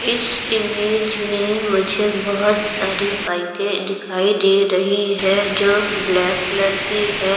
इस इमेज में मुझे बहोत सारी बाईकें दिखाई दे रही है जो ब्लैक कलर की है।